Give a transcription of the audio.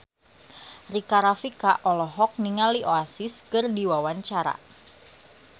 Rika Rafika olohok ningali Oasis keur diwawancara